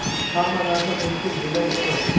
hamma narsa mumkin degani emas.